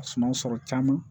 Suma sɔrɔ caman